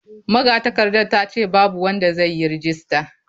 Magatakardar ta ce babu wanda zai yi rajista.